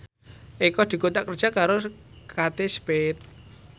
Eko dikontrak kerja karo Kate Spade